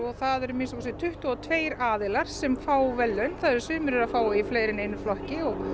það eru að minnsta kosti tuttugu og tveir aðilar sem fá verðlaun sumir eru að fá verðlaun í fleiri en einum flokki og